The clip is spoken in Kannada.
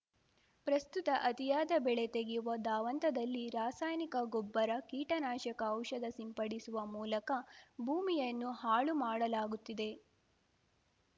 ಪ್ರಸ್ತುತ ಅತಿಯಾದ ಬೆಳೆ ತೆಗೆಯುವ ಧಾವಂತದಲ್ಲಿ ರಾಸಾಯಾನಿಕ ಗೊಬ್ಬರ ಕೀಟನಾಶಕ ಔಷಧ ಸಿಂಪಡಿಸುವ ಮೂಲಕ ಭೂಮಿಯನ್ನು ಹಾಳು ಮಾಡಲಾಗುತ್ತಿದೆ